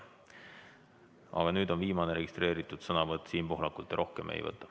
Aga nüüd on viimane registreeritud sõnavõtt Siim Pohlakult ja rohkem me ei võta.